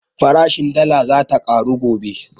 Farashin dala zata ƙaru gobe